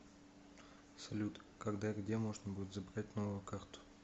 салют когда и где можно будет забрать новую карту